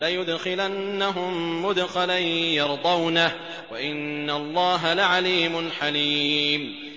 لَيُدْخِلَنَّهُم مُّدْخَلًا يَرْضَوْنَهُ ۗ وَإِنَّ اللَّهَ لَعَلِيمٌ حَلِيمٌ